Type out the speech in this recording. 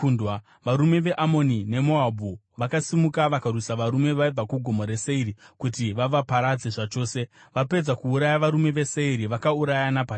Varume veAmoni neMoabhu vakasimuka vakarwisa varume vaibva kuGomo reSeiri kuti vavaparadze zvachose. Vapedza kuuraya varume veSeiri vakaurayana pachavo.